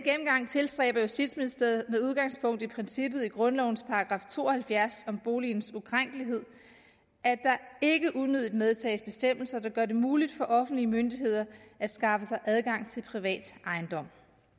tilstræber justitsministeriet med udgangspunkt i princippet i grundlovens § to og halvfjerds om boligens ukrænkelighed at der ikke unødigt medtages bestemmelser der gør det muligt for offentlige myndigheder at skaffe sig adgang til privat ejendom